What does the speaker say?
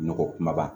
Nɔgɔ kumaba